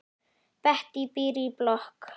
Bettý býr í blokk.